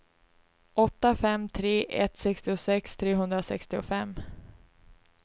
åtta fem tre ett sextiosex trehundrasextiofem